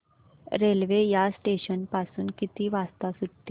railway या station पासून किती वाजता सुटते